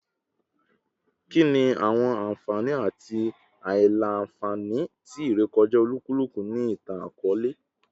Kini awọn anfani ati aila-nfani ti irekọja olukuluku ni itan-akọọlẹ?